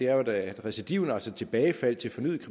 er at recidivet altså tilbagefaldet til fornyet